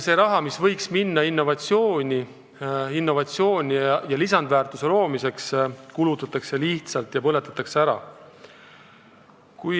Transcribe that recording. Raha, mis võiks minna innovatsiooni ja lisandväärtuse loomiseks, kulutatakse lihtsalt niisama, põletatakse ära.